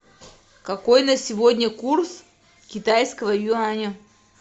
какой на сегодня курс китайского юаня